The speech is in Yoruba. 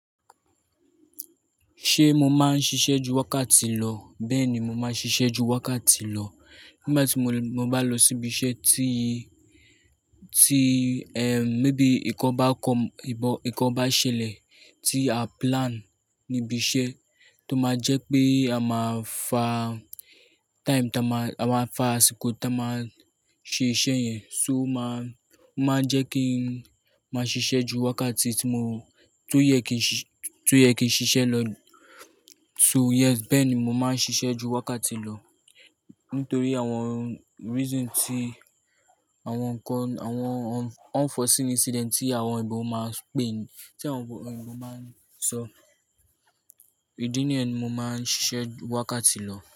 Ṣé mo máa ń ṣiṣẹ́ ju wákàtí lọ? Bẹ́ẹ̀ni, mo máa ń ṣiṣẹ́ ju wákàtí lọ. Nígbà tí mo, mo bá lọ síbi iṣẹ́ tí, tí, ẹm, mébi nǹkan bá ko, ìbọn, nǹkan bá ṣẹlẹ̀ tí a plan níbi iṣẹ́ tó máa jẹ́ pé a máa fa time táa máa, a máa fa àsìkò táa máa ṣe iṣẹ́ yẹn, so máa, máa jẹ́ kí n máa ṣiṣẹ́ ju wákàtí tí mo, tó yẹ kí n ṣi, tó yẹ kí n ṣiṣẹ́ lọ. So yes, bẹ́ẹ̀ ni mo máa ń ṣiṣẹ́ ju wákàtí lọ nítorí àwọn reason tí àwọn nkàn, àwọn unforseen incident tí àwọn oyìnbọ máa pè, tí àwọn oyinbọ máa ń sọ. Ìdí nìyẹn ni mo máa ń ṣiṣẹ́ ju wákàtí lọ.